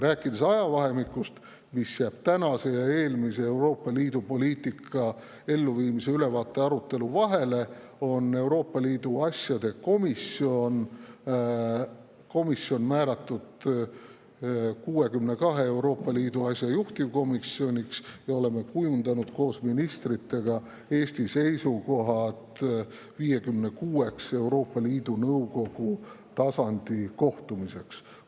Ajavahemikus, mis jääb tänase ja eelmise Euroopa Liidu poliitika elluviimise ülevaate arutelu vahele, on Euroopa Liidu asjade komisjon määratud 62 Euroopa Liidu asja juhtivkomisjoniks ja oleme kujundanud koos ministritega Eesti seisukohad 56‑ks Euroopa Liidu Nõukogu tasandi kohtumiseks.